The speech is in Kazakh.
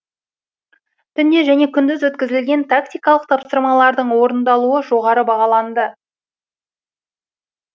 түнде және күндіз өткізілген тактикалық тапсырмалардың орындалуы жоғары бағаланды